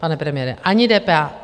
Pane premiére, ani DPH?